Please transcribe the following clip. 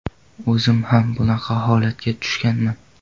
O‘zim ham bunaqa holatga tushganman.